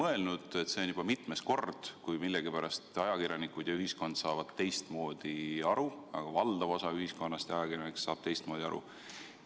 Aga ma tuletan meelde, et see on juba mitmes kord, kui millegipärast ajakirjanikud ja ühiskond saavad teistmoodi aru, valdav osa ühiskonnast ja ajakirjanikud saavad teistmoodi aru.